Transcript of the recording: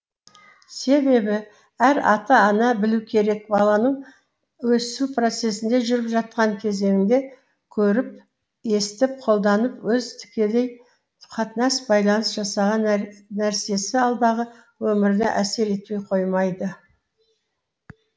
себебі әр ата ана білу керек баланың өсу процесінде жүріп жатқан кезеңінде көріп естіп қолданып өзі тікелей қатынас байланыс жасаған нәрсесі алдағы өміріне әсер етпей қоймайды